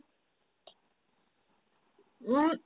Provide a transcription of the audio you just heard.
উম